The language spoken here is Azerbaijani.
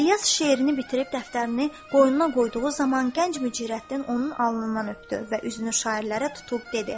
İlyas şeirini bitirib dəftərini qoynuna qoyduğu zaman gənc Mücirəddin onun alnından öpdü və üzünü şairlərə tutub dedi.